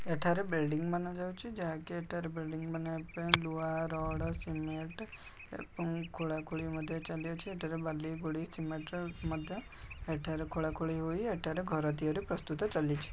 ଏଠାରେ ବିଲ୍ଡିଂ ବାନଯାଉଛି ଯାହାକି ଏଠାରେ ବିଲ୍ଡିଂ ବନେଇବା ପାଇଁ ଲୁହା ରଡ଼ ସିମେଟ୍ ଏବଂ ଖୋଳା ଖୋଳି ମଧ୍ୟ ଚାଲିଅଛି ଏଠାରେ ବାଲି ଗୋଡ଼ି ସିମେଣ୍ଟ ର ମଧ୍ୟ ଏଠାରେ ଖୋଳା ଖୋଳି ହୋଇ ଏଠାରେ ଘର ତିଆରି ପ୍ରସ୍ତୁତ ଚାଲିଛି।